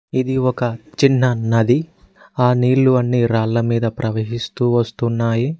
ఇది ఒక చిన్న నది ఆ నీళ్లు అన్ని రాళ్ల మీద ప్రవహిస్తూ వస్తున్నాయి.